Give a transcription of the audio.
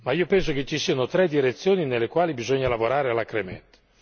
Ma io penso che ci siano tre direzioni nelle quali occorre lavorare alacremente.